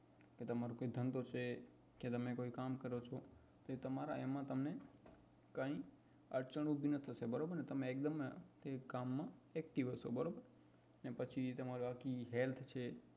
કે ધંધો છે કે તમે કઈ કામ કરો છો તો તમારા એમાં તમને કઈ અડચણ ઉભી ના થશે બરોબર ને તે તમે તે કામ માં active હસો બરોબર અને પછી બાકી તમારી health છે